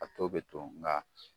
A tɔ bɛ to nga